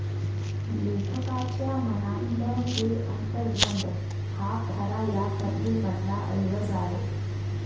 लेखकाच्या मनातलं हे अंतर्द्वंद्व हा खरा या कथेमधला ऐवज आहे